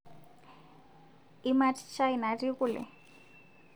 Imat chai natii kule?